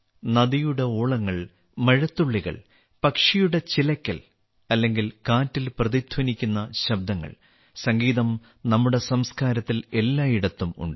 നദിയുടെ ഓളങ്ങൾ മഴത്തുള്ളികൾ പക്ഷികളുടെ ചിലക്കൽ അല്ലെങ്കിൽ കാറ്റിൽ പ്രതിധ്വനിക്കുന്ന ശബ്ദങ്ങൾ സംഗീതം നമ്മുടെ സംസ്കാരത്തിൽ എല്ലായിടത്തും ഉണ്ട്